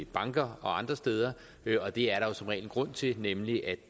banker og andre steder og det er der jo som regel en grund til nemlig at